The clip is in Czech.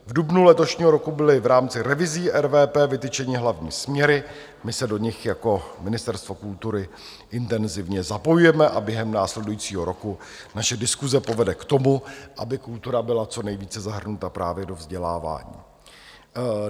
V dubnu letošního roku byly v rámci revizí RVP vytyčeny hlavní směry, my se do nich jako Ministerstvo kultury intenzivně zapojujeme a během následujícího roku naše diskuse povede k tomu, aby kultura byla co nejvíce zahrnuta právě do vzdělávání.